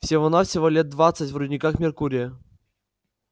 всего-навсего лет двадцать в рудниках меркурия